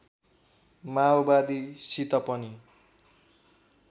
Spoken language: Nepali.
माओवादीसित पनि